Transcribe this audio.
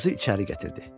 Qızı içəri gətirdi.